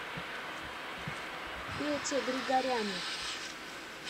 пете григоряне